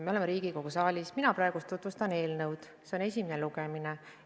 Me oleme Riigikogu saalis, mina praegu tutvustan eelnõu, see on esimene lugemine.